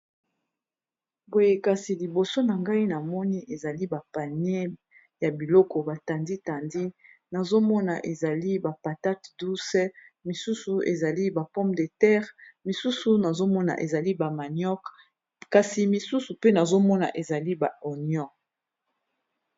boye kasi liboso na ngai na moni ezali bapanie ya biloko batandi-tandi nazomona ezali bapatate douce misusu ezali ba pompe de terre misusu nazomona ezali ba manioce kasi misusu pe nazomona ezali ba onion